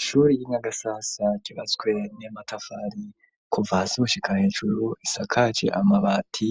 Ishure y'inyagasasa kibaswe n'amatafari kuva gushika hejuru isakagi amabati